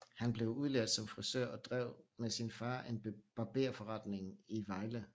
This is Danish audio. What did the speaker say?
Han blev udlært som frisør og drev sammen med sin far en barberforretning i Vejle